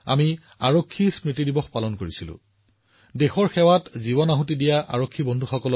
আৰক্ষী গৱেষণা আৰু উন্নয়ন ব্যুৰৰ পৰিসংখ্যাই দেখুৱাইছে যে যোৱা কেইবছৰমানত মহিলা আৰক্ষীৰ সংখ্যা দুগুণ হৈছে